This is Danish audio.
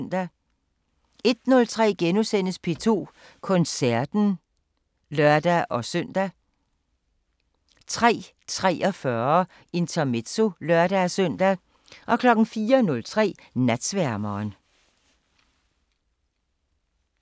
01:03: P2 Koncerten *(lør-søn) 03:43: Intermezzo (lør-søn) 04:03: Natsværmeren